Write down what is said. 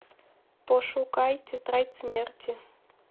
пошукай тетрадь смерти